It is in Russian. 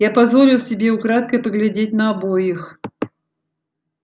я позволил себе украдкой поглядеть на обоих